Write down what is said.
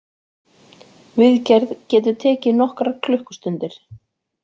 Viðgerð getur tekið nokkrar klukkustundir